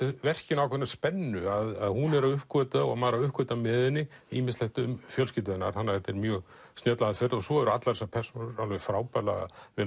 verkinu ákveðna spennu að hún er að uppgötva og maður er að uppgötva með henni ýmislegt um fjölskyldu hennar þetta er mjög snjöll aðferð svo eru allar þessar persónur frábærlega vel